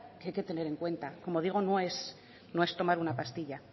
que hay que tener en cuenta como digo no es tomar una pastilla